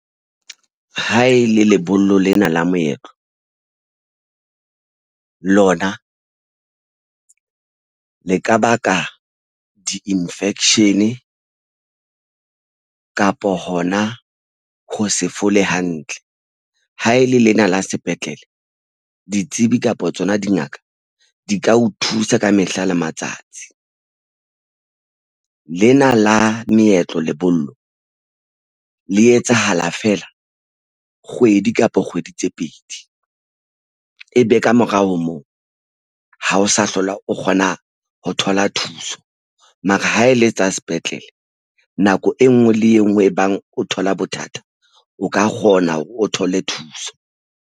Ha e le lebollo lena la moetlo lona le ka baka di-infection kapo hona ho se fole hantle ha e le lena la sepetlele ditsebi kapa tsona dingaka di ka o thusa ka mehla le matsatsi lena la meetlo lebollo le etsahala fela kgwedi kapa kgwedi tse pedi e be kamorao ho moo ha o sa hlola o kgona ho thola thuso, mara ha e le tsa sepetlele nako e nngwe le e nngwe e bang o thola bothata o ka kgona hore o thole thuso.